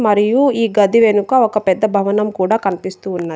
మరియు ఈ గది వెనుక ఒక పెద్ద భవనం కూడా కన్పిస్తూ ఉన్నది.